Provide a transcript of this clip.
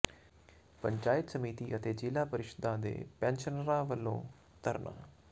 ਪੰਚਾਇਤ ਸਮਿਤੀਆਂ ਅਤੇ ਜ਼ਿਲ੍ਹਾ ਪਰਿਸ਼ਦਾਂ ਦੇ ਪੈਨਸ਼ਨਰਾਂ ਵੱਲੋਂ ਧਰਨਾ